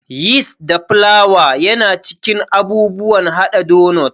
Yist da flawa yana cikin abubuwan haɗa donot.